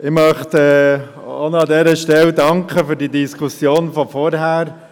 Ich möchte an dieser Stelle für die vorangehende Diskussion danken.